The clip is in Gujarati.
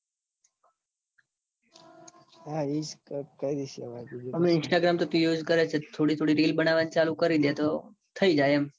હા એ કરી દૈસ. હવે instagram તો તું use કરે છે. થોડી થોડી reels બનવાનું ચાલુ કરી દે. તો થઇ જાય એમ.